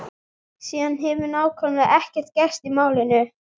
Síðan hefur nákvæmlega ekkert gerst í málinu.